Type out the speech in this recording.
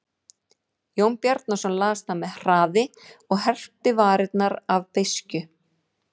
Jón Bjarnason las það með hraði og herpti varirnar af beiskju.